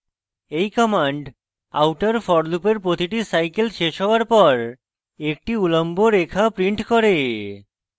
এই command outer forloop এর প্রতিটি cycle শেষ হওয়ার পর একটি উল্লম্ব রেখা prints করে